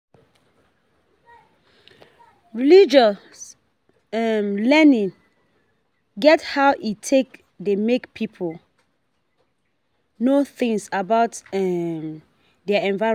Religious um learning get how e take dey make pipo know things about um their environment